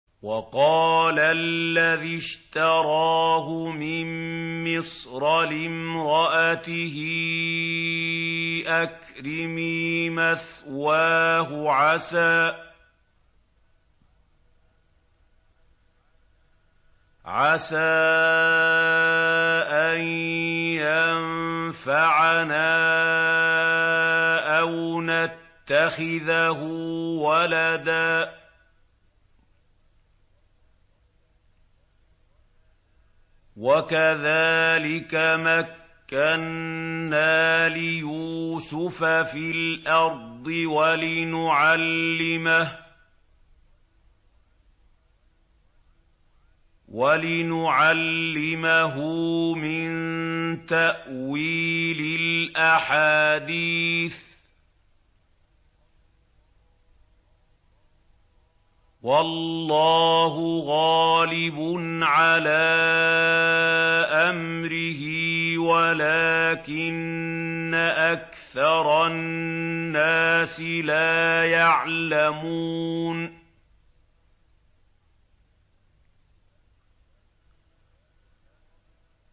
وَقَالَ الَّذِي اشْتَرَاهُ مِن مِّصْرَ لِامْرَأَتِهِ أَكْرِمِي مَثْوَاهُ عَسَىٰ أَن يَنفَعَنَا أَوْ نَتَّخِذَهُ وَلَدًا ۚ وَكَذَٰلِكَ مَكَّنَّا لِيُوسُفَ فِي الْأَرْضِ وَلِنُعَلِّمَهُ مِن تَأْوِيلِ الْأَحَادِيثِ ۚ وَاللَّهُ غَالِبٌ عَلَىٰ أَمْرِهِ وَلَٰكِنَّ أَكْثَرَ النَّاسِ لَا يَعْلَمُونَ